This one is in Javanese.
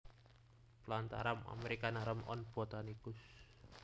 Plantarum americanarum on Botanicus